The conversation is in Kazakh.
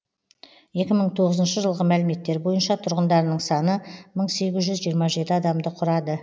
екі мың тоғызыншы жылғы мәліметтер бойынша тұрғындарының саны мың сегіз жүз жиырма жеті адамды құрады